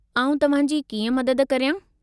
आऊं तव्हांजी कीअं मदद करियां ?